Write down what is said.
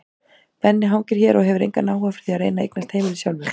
Benni hangir hér og hefur engan áhuga fyrir því að reyna að eignast heimili sjálfur.